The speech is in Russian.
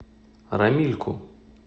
рамильку